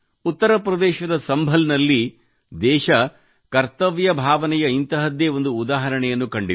ಉತ್ತರ ಪ್ರದೇಶದ ಸಂಭಲ್ ನಲ್ಲಿ ದೇಶವು ಕರ್ತವ್ಯ ಭಾವನೆಯ ಇಂತಹದ್ದೇ ಒಂದು ಉದಾಹರಣೆಯನ್ನು ಕಂಡಿದೆ